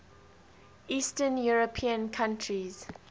eastern european countries